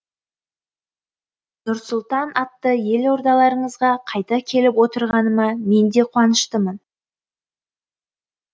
нұр сұлтан атты елордаларыңызға қайта келіп отырғаныма мен де қуаныштымын